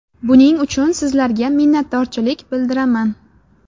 Buning uchun sizlarga minnatdorchilik bildiraman.